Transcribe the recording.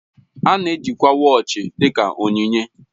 A na-ejikwa wọọchi dị ka onyinye